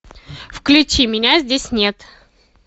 включи меня здесь нет